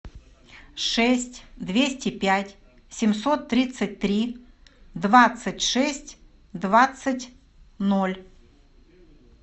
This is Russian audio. шесть двести пять семьсот тридцать три двадцать шесть двадцать ноль